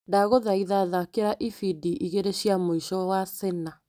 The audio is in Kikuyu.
Ndagũthaitha thakĩra ibindi igĩrĩ cia mũico wa Sena.